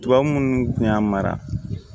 Tubabu munnu kun y'a mara